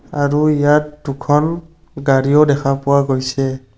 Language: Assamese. আৰু ইয়াত দুখন গাড়ীও দেখা পোৱা গৈছে।